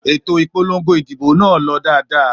Ètò ìpolongo ìdìbò nà lọ dáadáa